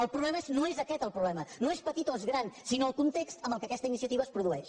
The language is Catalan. el problema no és aquest el problema no és petit o és gran sinó el context en què aquesta iniciativa es produeix